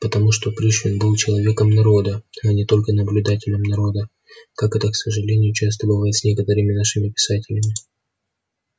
потому что пришвин был человеком народа а не только наблюдателем народа как это к сожалению часто бывает с некоторыми нашими писателями